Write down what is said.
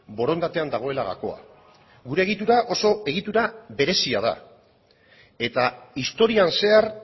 borondatean dagoela gakoa gure egitura oso egitura berezia da eta historian zehar